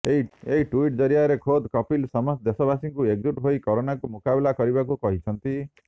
ଏକ ଟୁଇଟ୍ ଜରିଆରେ ଖୋଦ କପିଲ ସମସ୍ତ ଦେଶବାସୀଙ୍କୁ ଏକଜୁଟ୍ ହୋଇ କରୋନାକୁ ମୁକାବିଲା କରିବାକୁ କହିଛନ୍ତି